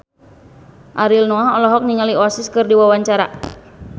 Ariel Noah olohok ningali Oasis keur diwawancara